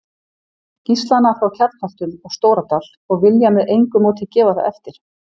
Gíslana frá Kjarnholtum og Stóradal og vilja með engu móti gefa það eftir.